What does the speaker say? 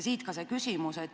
Siit ka küsimus.